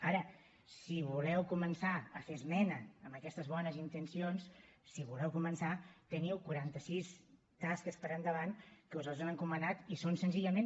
ara si voleu començar a fer esmena amb aquestes bones intencions si voleu començar teniu quaranta sis tasques per endavant que us les han encomanant i són senzillament